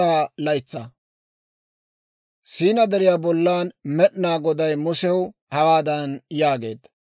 Siinaa Deriyaa bollan Med'inaa Goday Musew hawaadan yaageedda;